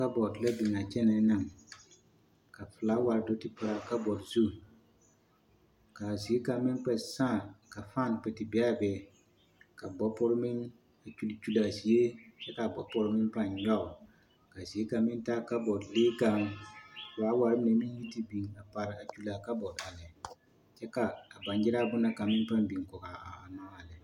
Kabɔɔte la biŋ a kyɛnɛɛ naŋ ka filaaware do te pare a kabɔɔte zu, k'a zie kaŋ meŋ kpɛ sãã ka fan kpɛ te be a be ka bɔpore meŋ a kyuli kyuli a zie kyɛ k'a bɔpore meŋ pãã nyɔge ka zie kaŋ meŋ taa babɔɔte lee kaŋ, filaaware mine meŋ te biŋ a pare a kyuli a kabɔɔte a lɛ kyɛ ka a baŋgyere bone na kaŋ na biŋ kɔgaa a lɛ.